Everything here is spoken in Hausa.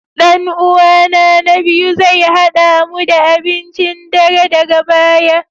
Dan uwana na biyu zai hada mu da abincin dare daga baya